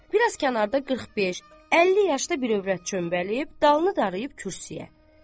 Bir az kənarda 45, 50 yaşda bir övrət çöməlib, dalını dayayıb kürsüyə.